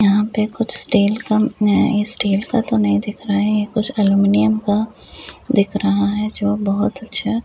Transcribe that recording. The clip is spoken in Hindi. यहाँ पे कुछ स्टील का अ स्टील का तो नहीं दिख रहा है कुछ अलमुनियम का दिख रहा है जो बहुत अच्छा --